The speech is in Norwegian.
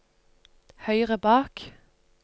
høyre bak